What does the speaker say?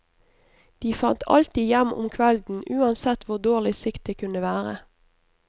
De fant alltid hjem om kvelden uansett hvor dårlig sikt det kunne være.